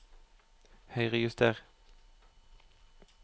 Høyrejuster